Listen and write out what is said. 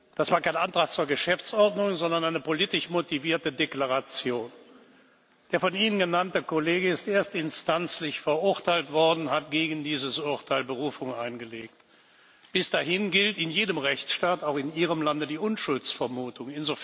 Das war kein Antrag zur Geschäftsordnung, sondern eine politisch motivierte Deklaration. Der von Ihnen genannte Kollege ist erstinstanzlich verurteilt worden, er hat gegen dieses Urteil Berufung eingelegt. Bis dahin gilt in jedem Rechtsstaat auch in Ihrem Lande die Unschuldsvermutung.